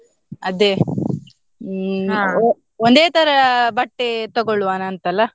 ಅದೇ ಒಂದೇ ತರ ಬಟ್ಟೆ ತೊಗೊಳ್ವನ ಅಂತಲ್ಲ.